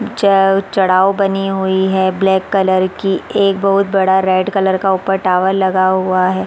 ज चढ़ाव बनी हुई है ब्लैक कलर की एक रेड कलर का ऊपर टावर लगा हुआ है।